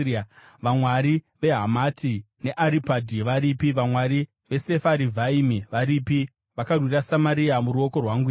Vamwari veHamati neAripadhi varipi? Vamwari veSefarivhaimi varipi? Vakarwira Samaria muruoko rwangu here?